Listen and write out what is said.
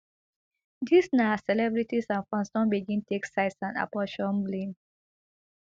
dis na as celebrities and fans don begin take sides and apportion blame